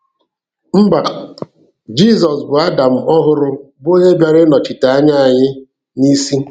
Mba, Jizọs bụ Adam ọhụrụ bụ onye bịara ịnọchite anya anyị n'isi.